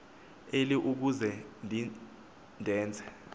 eli ukuze ndenze